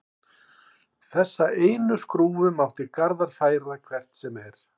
Þessa einu skrúfu mátti Garðar færa hvert sem er.